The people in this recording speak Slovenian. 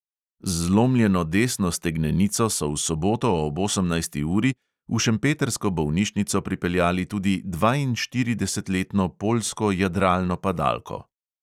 Z zlomljeno desno stegnenico so v soboto ob osemnajsti uri v šempetrsko bolnišnico pripeljali tudi dvainštiridesetletno poljsko jadralno padalko.